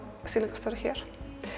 sýningarstjóri hér